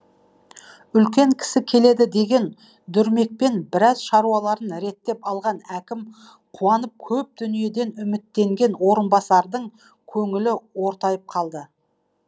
үлкен кісі келеді деген дүрмекпен біраз шаруаларын реттеп алған әкім қуанып көп дүниеден үміттенген орынбасардың көңілі ортайып қалды